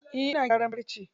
Eh ina gyaran farce.